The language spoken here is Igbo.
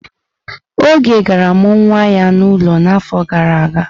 Oge gara mụọ nwa ya n'ụlọ n'afọ gara aga?